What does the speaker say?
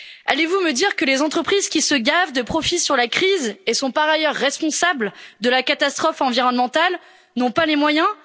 Allez vous me dire que les entreprises qui se gavent de profits sur la crise, et sont par ailleurs responsables de la catastrophe environnementale n'ont pas les moyens?